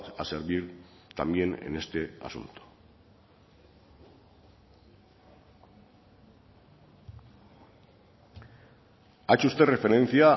a servir también en este asunto ha hecho usted referencia a